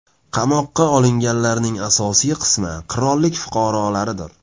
Qamoqqa olinganlarning asosiy qismi qirollik fuqarolaridir.